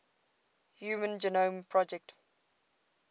human genome project